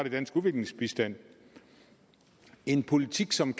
i dansk udviklingsbistand en politik som